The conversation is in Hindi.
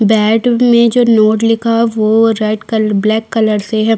बैट में जो नोट लिखा है वो रेड कलर ब्लैक कलर से है।